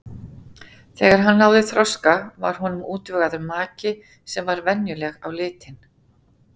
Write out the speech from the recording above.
Þegar hann náði þroska var honum útvegaður maki sem var venjuleg á litin.